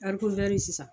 Ɛri kontɛri sisan